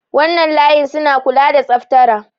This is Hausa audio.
wannan layin suna kula da tsaftara